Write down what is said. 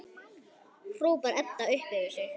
hrópar Edda upp yfir sig.